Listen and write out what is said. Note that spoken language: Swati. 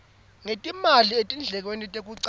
ngetimali etindlekweni tekucasha